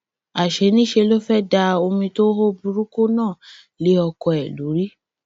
àṣé niṣẹ ló fẹẹ da omi tó hó burúkú náà lé ọkọ ẹ lórí